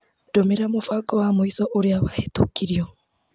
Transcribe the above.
Ndũmĩra mũbango wa mũico ũrĩa wahĩtũkirio.